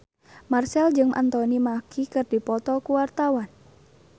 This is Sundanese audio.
Marchell jeung Anthony Mackie keur dipoto ku wartawan